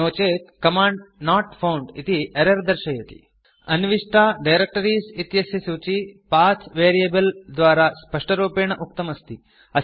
नो चेत् command not found इति error दर्श्यते अन्विष्टा डायरेक्टरीज़ इत्यस्य सूची पथ वेरिएबल द्वारा स्पष्टरूपेण उक्तम् अस्ति